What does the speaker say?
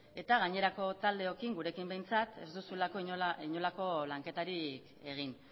eta gainerako taldeokin gurekin behintzat ez duzulako inolako lanketarik egin